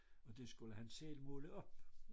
Og det skulel han selv måle op